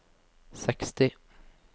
seksti